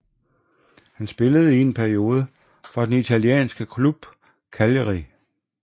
Han spillede i en periode for den italienske klub Cagliari